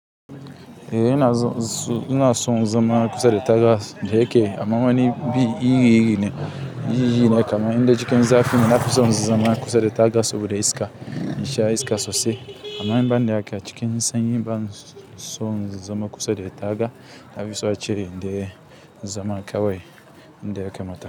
Eh ina son zama kusa da taga, dayake amma wani biyu yiyi ne kamar inda cikin zafi nake son zama kusa da taga saboda iska, in sha iska sosai. Amma in ba ni ake cikin sanyi ba, in son zama kusa da taga, na fi so a cire nda zama kawai inda aka matsa.